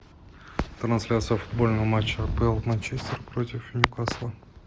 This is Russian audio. трансляция футбольного матча апл манчестер против ньюкасла